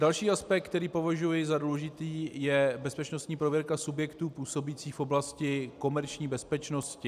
Další aspekt, který považuji za důležitý, je bezpečnostní prověrka subjektů působících v oblasti komerční bezpečnosti.